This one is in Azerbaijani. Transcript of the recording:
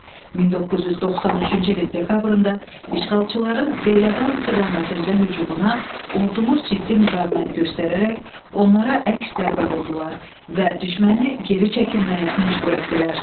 1993-cü ilin dekabrında işğalçıların Beyləqan istiqamətində hücumuna ordumuz ciddi müqavimət göstərərək onlara əks zərbə vurdular və düşməni geri çəkilməyə məcbur etdilər.